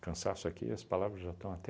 Cansaço aqui, as palavras já estão até...